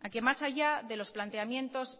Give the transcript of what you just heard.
a que más allá de los planteamientos